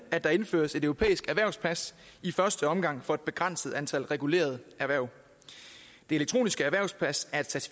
at der indføres et europæisk erhvervspas i første omgang for et begrænset antal regulerede erhverv det elektroniske erhvervspas er